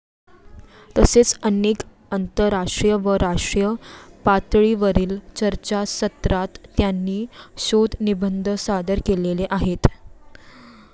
तसेच अनेक आंतरराष्ट्रीय व राष्ट्रीय पातळीवरील चर्चासत्रात त्यांनी शोधनिबंध सादर केलेले आहेत.